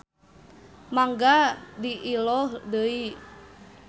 Mangga diilo deui.